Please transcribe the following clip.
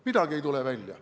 Midagi ei tule välja.